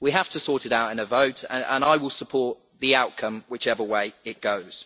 We have to sort it out in a vote and I will support the outcome whichever way it goes.